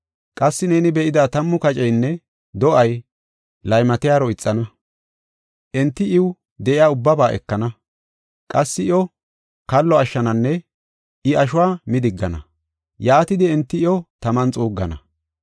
Qassi neeni be7ida tammu kaceynne do7ay laymatiyaro ixana. Enti iw de7iya ubbaba ekana. Qassi iyo kallo ashshananne I ashuwa midigana; yaatidi enti iyo taman xuuggana.